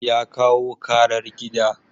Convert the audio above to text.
Ya kawo karar gida.